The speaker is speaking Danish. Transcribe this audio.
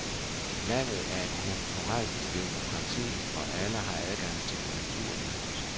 Landet er et kulturelt demokrati, hvor alle har adgang til kulturlivet.